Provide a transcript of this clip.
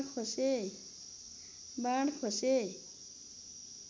बाण खोसे